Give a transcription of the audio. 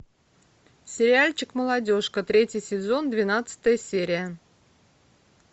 сериальчик молодежка третий сезон двенадцатая серия